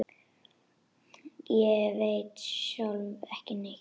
Ég veit sjálf ekki neitt.